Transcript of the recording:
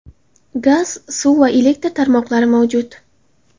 Gaz, suv va elektr tarmoqlari mavjud.